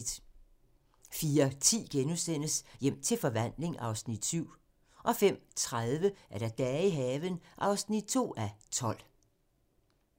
04:10: Hjem til forvandling (Afs. 7)* 05:30: Dage i haven (2:12)